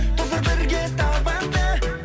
тоздыр бірге табанды